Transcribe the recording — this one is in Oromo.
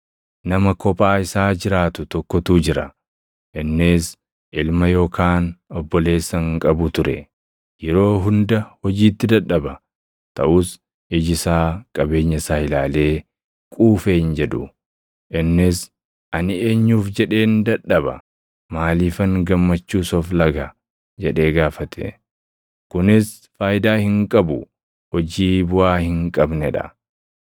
Nama kophaa isaa jiraatu tokkotu jira; innis ilma yookaan obboleessa hin qabu ture. Yeroo hunda hojiitti dadhaba; taʼus iji isaa qabeenya isaa ilaalee quufe hin jedhu. Innis, “Ani eenyuuf jedheen dadhaba? Maaliifan gammachuus of laga?” jedhee gaafate. Kunis faayidaa hin qabu; hojii buʼaa hin qabnee dha!